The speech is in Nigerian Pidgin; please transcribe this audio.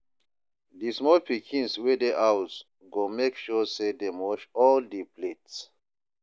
di small pikins wey dey house go mek sure say dem wash all di plates